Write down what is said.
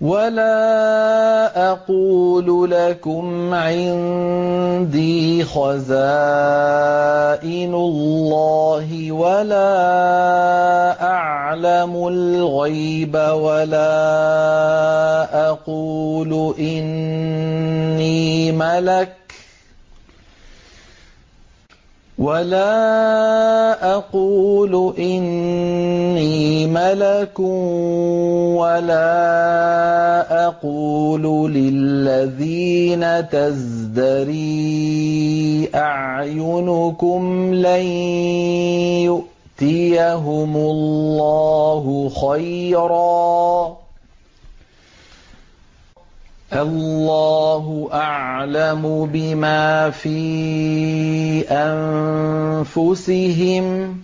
وَلَا أَقُولُ لَكُمْ عِندِي خَزَائِنُ اللَّهِ وَلَا أَعْلَمُ الْغَيْبَ وَلَا أَقُولُ إِنِّي مَلَكٌ وَلَا أَقُولُ لِلَّذِينَ تَزْدَرِي أَعْيُنُكُمْ لَن يُؤْتِيَهُمُ اللَّهُ خَيْرًا ۖ اللَّهُ أَعْلَمُ بِمَا فِي أَنفُسِهِمْ ۖ